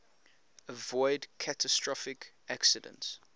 avoid catastrophic accidents